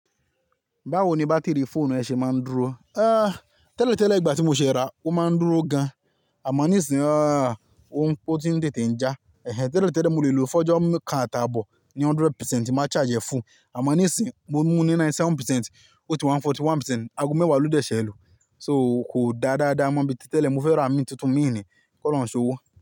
Báwo ni bátìrì fóònù ẹ ṣe máa ń dúró? Tẹ́lẹ̀ tẹ́lẹ̀ ìgbà tí mo ṣe ra, ó máa ń dúró gan, àmọ́ nísinyii ó ti ń tètè ń já. Ẹ̀hẹn, tẹ́lẹ̀ tẹ́lẹ̀ mo lè lò fọ́jọ́ mi kán atàbọ̀ ní hundred percent ti n máa charge ẹ fún, àmọ́ nísinyii mo mú ní ninety seven percent, ó ti wá ni forty one percent, aago mẹ́wàá ló dẹ̀ ṣẹ́ lu So kò dá dáadáa mọ́ bí ti tẹ́lẹ̀, mo fẹ́ ra mí tuntun mi ni, kọ́ lọ́hun ṣowó.